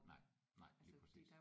Nej nej lige præcis